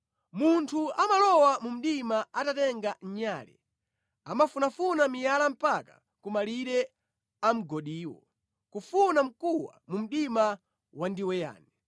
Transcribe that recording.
Munthu amalowa mu mdima atatenga nyale, amafunafuna miyala mpaka ku malire a mgodiwo, kufuna mkuwa mu mdima wandiweyani.